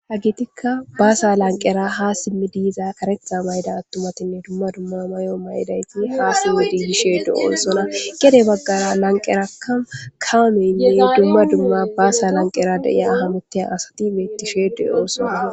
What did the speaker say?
ha gitikka baasa lanqera ha simmi diiza karetha mayda attumatinne dumma dumma may7o may7idayti ha simmidigishe do7osona gede baggara lanqerakka kaameynne dumma dumma baasa lanqera deiya ahamoteya asati mettishe de7o sona